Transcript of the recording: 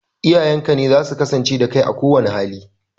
Iyayenka ne zasu kasance da kai a kowanne hali